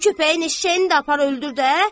Bu köpəyin eşşəyini də apar öldür də.